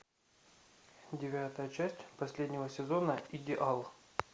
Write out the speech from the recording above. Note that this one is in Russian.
девятая часть последнего сезона идеал